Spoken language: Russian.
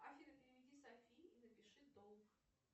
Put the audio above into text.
афина переведи софии и напиши долг